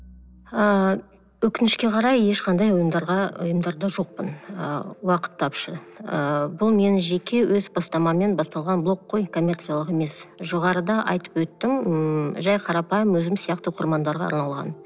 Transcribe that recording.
ыыы өкінішке қарай ешқандай ұйымдарда жоқпын ы уақыт тапшы ы бұл менің жеке өз бастамаммен басталған блог қой коммерциялық емес жоғарыда айтып өттім ммм жай қарапайым өзім сияқты оқырмандарға арналған